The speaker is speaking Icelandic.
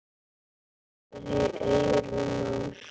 Með kveðju, Eyrún Ósk.